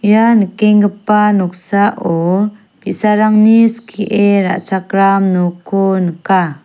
ia nikenggipa noksao bi·sarangni skie ra·chakram nokko nika.